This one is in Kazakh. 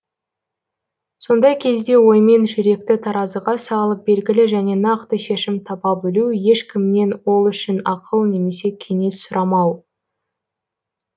сондай кезде оймен жүректі таразыға салып белгілі және нақты шешім таба білу ешкімнен ол үшін ақыл немесе кеңес сұрамау